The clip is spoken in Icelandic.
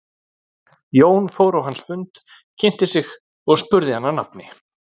Jón fór á hans fund, kynnti sig og spurði hann að nafni.